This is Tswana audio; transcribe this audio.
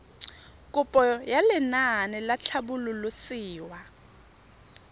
kopo ya lenaane la tlhabololosewa